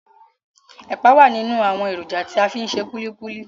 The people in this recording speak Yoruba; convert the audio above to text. Ẹ̀pà wà nínú àwọn èròjà tí a fi ń ṣe kulikuli.